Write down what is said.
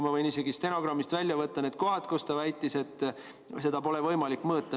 Ma võin isegi stenogrammist välja võtta need kohad, kus ta väitis, et seda pole võimalik mõõta.